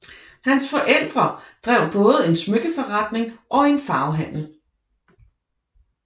Hans forældre drev både en smykkeforretning og en farvehandel